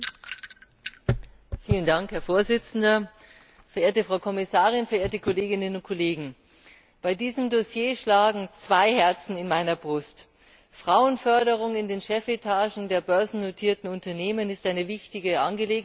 Herr Präsident, verehrte Frau Kommissarin, verehrte Kolleginnen und Kollegen! Bei diesem Dossier schlagen zwei Herzen in meiner Brust. Frauenförderung in den Chefetagen der börsennotierten Unternehmen ist eine wichtige Angelegenheit und ein wichtiges Anliegen.